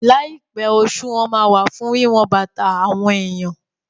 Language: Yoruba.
Láìpẹ́, òṣùwọ̀n fún wíwọn bàtà àwọn èèyàn